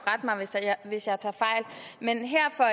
hvis jeg tager fejl men her for